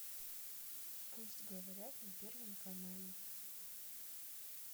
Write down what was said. пусть говорят на первом канале